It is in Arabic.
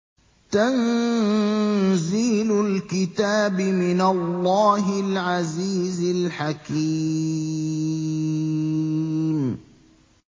تَنزِيلُ الْكِتَابِ مِنَ اللَّهِ الْعَزِيزِ الْحَكِيمِ